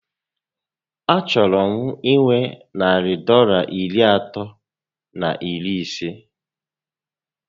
A chọrọ m inwe narị Dọlas iri atọ na iri isé